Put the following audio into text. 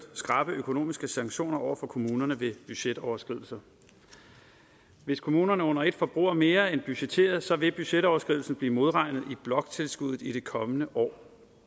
skrappe økonomiske sanktioner over for kommunerne ved budgetoverskridelser hvis kommunerne under et forbruger mere end budgetteret vil budgetoverskridelsen bliver modregnet i bloktilskuddet i det kommende år